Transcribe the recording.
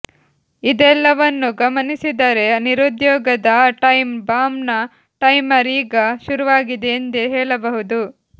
ಇದೆಲ್ಲವನ್ನೂ ಗಮನಿಸಿದರೆ ನಿರುದ್ಯೋಗದ ಆ ಟೈಮ್ ಬಾಂಬ್ನ ಟೈಮರ್ ಈಗ ಶುರುವಾಗಿದೆ ಎಂದೇ ಹೇಳಬಹುದು